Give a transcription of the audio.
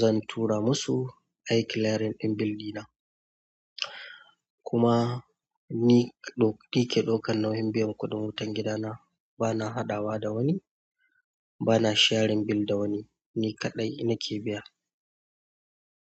zan tura musu, ai clearing ɗin bildi na. Kuma ni kada ɗauki nauyin biyan kuɗin gidana bana hadawa da wani bana shearing bill da wani ni kaɗai nake biya.